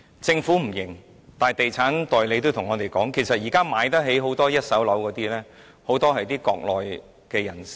政府不承認，但地產代理告訴我們，現時有能力購買一手樓的人，很多是國內人士。